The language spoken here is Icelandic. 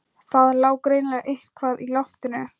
Það lá greinilega eitthvað í loftinu.